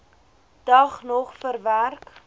dag nog verwerk